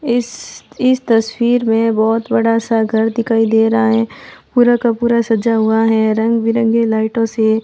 इस इस तस्वीर में बहोत बड़ा सा घर दिखाई दे रहा है। पूरा का पूरा सजा हुआ है रंग-बिरंगे लाइटों से--